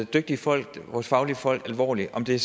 dygtige folk vores fagfolk alvorligt om det